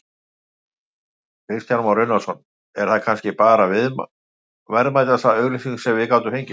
Kristján Már Unnarsson: Er það kannski bara verðmætasta auglýsing sem við gátum fengið?